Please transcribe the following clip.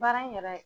Baara in yɛrɛ